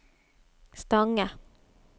Stange